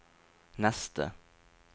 neste